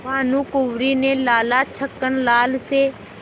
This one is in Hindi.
भानकुँवरि ने लाला छक्कन लाल से